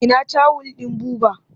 Ina tawul ɗin Buba?